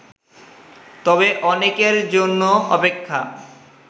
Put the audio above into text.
তবে অনেকের জন্য অপেক্ষা